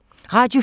Radio 4